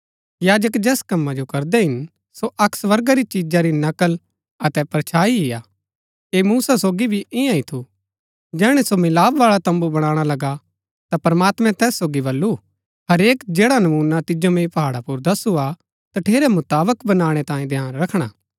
याजक जैस कमा जो करदै हिन सो अक्क स्वर्गा री चिजा री नकल अतै परछाई ही हा ऐह मूसा सोगी भी इन्या ही थू जैहणै सो मिलाप बाळा तम्बू बणाणा लगा ता प्रमात्मैं तैस सोगी बल्लू हरेक जैडा नमूना तिजो मैंई पहाड़ा पुर दस्सु हा तठेरै मुताबक बनाणै तांये ध्यान रखणा